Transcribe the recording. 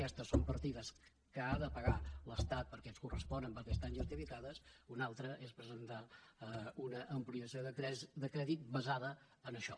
aquestes són partides que ha de pagar l’estat perquè ens corresponen perquè estan justificades i una altra és presentar una ampliació de crèdit basada en això